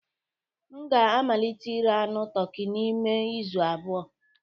M ga-amalite ire anụ toki n'ime izu abụọ